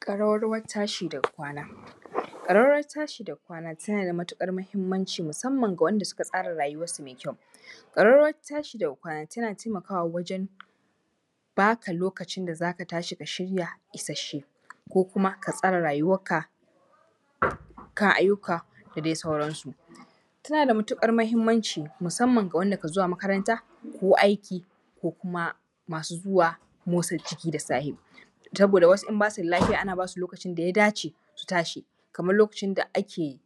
Ƙararrawan tashi daga kwana, ƙararrawan tashi daga kwana tana da matuƙar muhimmanci ga wanda suka tsara rayuwar su mai kyau, ƙararrawan tashi daga kwana tana taimakawa wajen baka lokacin da za ka tashi ka shirya isashe ko kuma ka tsara rayuwarka kan ayyuka da dai sauransu, tana da matuƙar mahimmanci musamman ga wanda kan zuwa makaranta ko aiki ko kuma masu zuwa motsa jiki da safe saboda wasu in ba su da lafiya ana ba su lokacin da ya dace su tashi, kamar lokacin da ake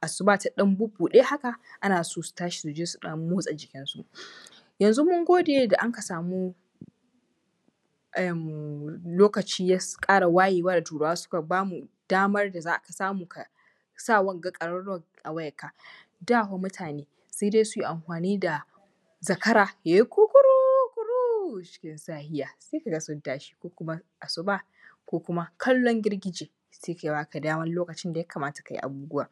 asuba ta ɗan buɗe haka ana so su tashi su je su ɗan motsa jikinsu, yanzu mun gode da muka samu lokaci ya ƙara wayewa ga Turawa suka ba mu damar da za a samu ka sa wanga ƙararrawar a wayanka. Da fa mutane sai dai su amfani da zakara ya yi kukuruku, cikin safiya sai ka ga sun tashi ko kuma asuba ko kuma kalon girgije da suke baka daman lokacin da ya kamata ka yi abubuwa,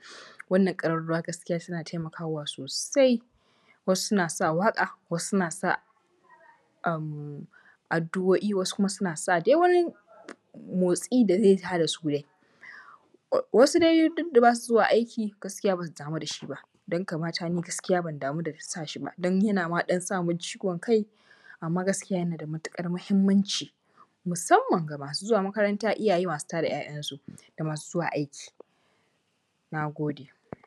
wannan ƙararrawa gaskiya suna taimakawa sosai, wasu suna sa waƙa, addu’oi, wasu kuma suna sa dai wani motsi da zai tada su dai wasu dai duk da ba su zuwa aiki gaskiya ba su damu da shi ba, dan kamata ni ban damu da shi ba, yana ma ɗan samun ciwon kai amma gaskiya yana da matuƙar muhimmanci musamman ga masu zuwa makaranta, iyaye masu tada ‘ya’yansu da masu zuwa aiki. Na gode.